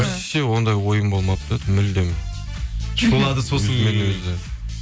вообще ондай ойым болмады да мүлдем шулады сосын